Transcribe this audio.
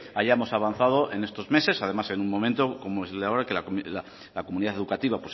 hayamos avanzado en estos meses además en un momento como es el de ahora que la comunidad educativa